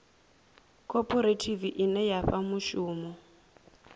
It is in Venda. khophorethivi ine ya fha mushumo